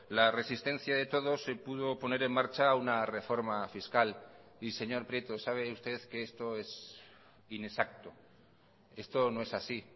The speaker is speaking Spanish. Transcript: la resistencia de todos se pudo poner en marcha una reforma fiscal y señor prieto sabe usted que esto es inexacto esto no es así